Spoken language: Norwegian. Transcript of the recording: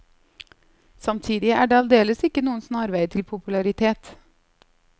Samtidig er det aldeles ikke noen snarvei til popularitet.